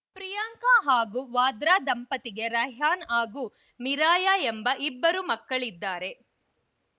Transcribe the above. ಪ್ರಿಯಾಂಕಾ ಹಾಗೂ ವಾದ್ರಾ ದಂಪತಿಗೆ ರೈಹಾನ್‌ ಹಾಗೂ ಮಿರಾಯಾ ಎಂಬ ಇಬ್ಬರು ಮಕ್ಕಳಿದ್ದಾರೆ